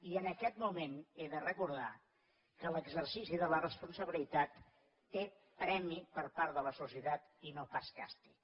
i en aquest moment he de recordar que l’exercici de la responsabilitat té premi per part de la societat i no pas càstig